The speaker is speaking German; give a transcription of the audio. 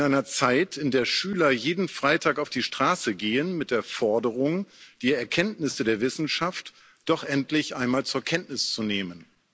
In einer Zeit, in der Schüler jeden Freitag auf die Straße gehen mit der Forderung, die Erkenntnisse der Wissenschaft doch endlich einmal zur Kenntnis zu nehmen.